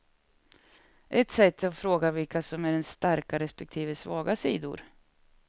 Ett sätt är att fråga vilka som är ens starka respektive svaga sidor.